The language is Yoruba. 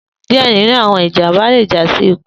Diẹ ninu awọn ijamba le ja si iku.